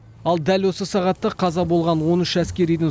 ал дәл осы сағатта қаза болған он үш әскеридің